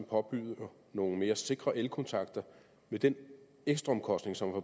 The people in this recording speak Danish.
påbyder nogle mere sikre elkontakter vil den ekstraomkostning som er